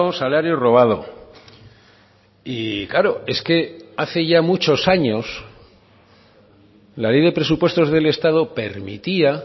salario robado y claro es que hace ya muchos años la ley de presupuestos del estado permitía